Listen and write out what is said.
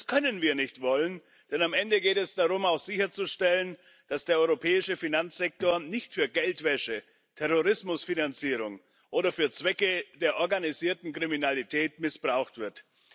Das können wir nicht wollen, denn am Ende geht es darum, auch sicherzustellen, dass der europäische Finanzsektor nicht für Geldwäsche, Terrorismusfinanzierung oder für Zwecke der organisierten Kriminalität missbraucht wird.